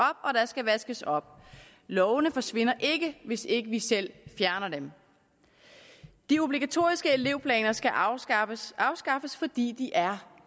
vaskes op lovene forsvinder ikke hvis ikke vi selv fjerner dem de obligatoriske elevplaner skal afskaffes afskaffes fordi de er